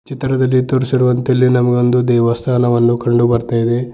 ಚಿತ್ರದಲ್ಲಿ ದಲ್ಲಿ ತೋರಿಸಿರುವಂತೆ ನಮಗೆ ಇಲ್ಲಿ ದೇವಸ್ಥಾನವನ್ನು ಕಂಡು ಬರ್ತಾ ಇದೆ.